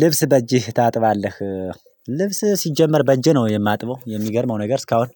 ልብስ በእጅህ ታጥባለህ? ልብስ ሲጀመር በእጄ ነው የማጥበው የሚገርመው ነገር እስካሁን